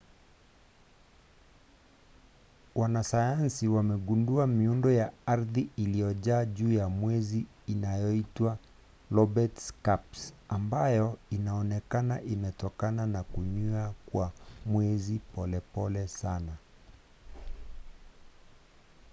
wanasayansi wamegundua miundo ya ardhi iliyojaa juu ya mwezi inayoitwa lobate scarps ambayo inaonekana imetokana na kunywea kwa mwezi polepole sana